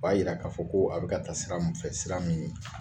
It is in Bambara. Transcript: O b'a jira k'a fɔ ko a bɛ ka taa sira min fɛ, sira min